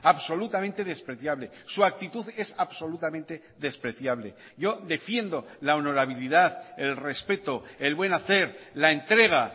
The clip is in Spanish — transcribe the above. absolutamente despreciable su actitud es absolutamente despreciable yo defiendo la honorabilidad el respeto el buen hacer la entrega